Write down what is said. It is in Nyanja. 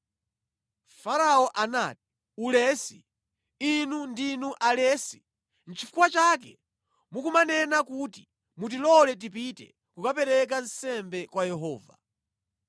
Farao anati, “Ulesi, inu ndinu alesi! Nʼchifukwa chake mukumanena kuti, ‘Mutilole tipite kukapereka nsembe kwa Yehova.’